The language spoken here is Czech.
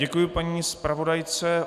Děkuji paní zpravodajce.